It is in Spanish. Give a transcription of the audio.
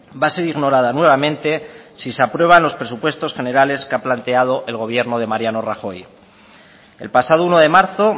va a ser ignorada nuevamente si se aprueban los presupuestos generales que ha planteado el gobierno de mariano rajoy el pasado uno de marzo